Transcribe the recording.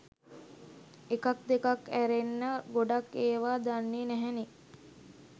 එකක් දෙකක් ඈරෙන්න ගොඩක් ඒව දන්නේ නැහැනේ